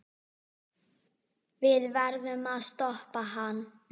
Við verðum að stoppa hann.